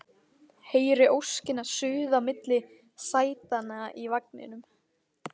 Heyri óskina suða milli sætanna í vagninum